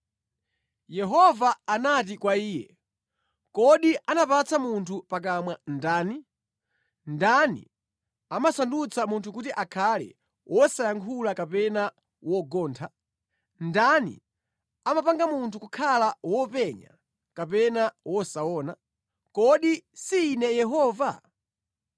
Yehova anati kwa iye, “Kodi anapatsa munthu pakamwa ndani? Ndani amasandutsa munthu kuti akhale wosayankhula kapena wosamva? Ndani amapanga munthu kukhala wopenya kapena wosaona? Kodi si Ine Yehova?